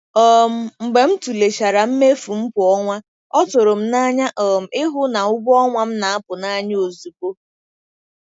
um Mgbe m tụlechara mmefu m kwa ọnwa, ọ tụrụ m n'anya um ịhụ na ụgwọ ọnwa m na-apụ n'anya ozugbo.